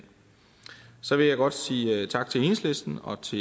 så vil jeg godt sige tak til enhedslisten og til